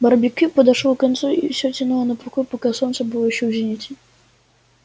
барбекю подошёл к концу и всё тянуло на покой пока солнце было ещё в зените